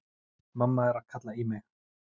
Mamma er að kalla í mig.